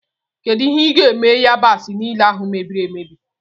Kedụ ihe i ga-eme yabasi niile ahụ mebiri emebi?